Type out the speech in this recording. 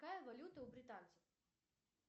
какая валюта у британцев